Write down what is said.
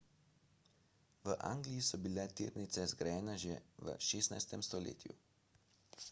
v angliji so bile tirnice zgrajene že v 16 stoletju